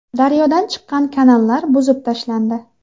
Daryodan chiqqan kanallar buzib tashlandi.